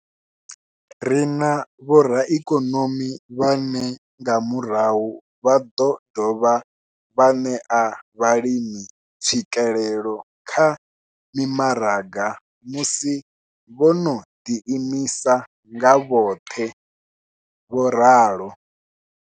Ri na vhoraikonomi vhane nga murahu vha ḓo dovha vha ṋea vhalimi tswikelelo kha mimaraga musi vho no ḓiimisa nga vhoṱhe. vho ralo.